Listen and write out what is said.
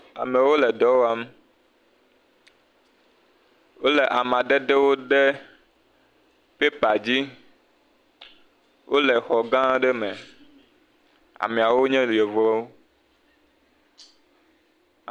Amewo le dɔ wɔm. Wole amedada de pepa dzi. Wole xɔ gã aɖe me. Ameawo nye yevuwo.